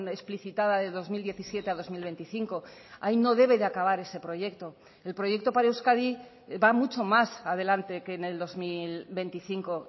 explicitada de dos mil diecisiete a dos mil veinticinco ahí no debe de acabar ese proyecto el proyecto para euskadi va mucho más adelante que en el dos mil veinticinco